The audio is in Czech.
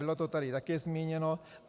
Bylo to tady také zmíněno.